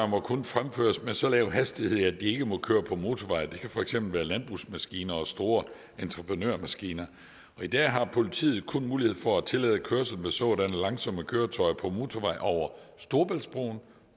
må kun fremføres med så lav hastighed at de ikke må køre på motorvej det kan for eksempel være landbrugsmaskiner og store entreprenørmaskiner i dag har politiet kun mulighed for at tillade kørsel med sådanne langsomme køretøjer på motorveje over storebæltsbroen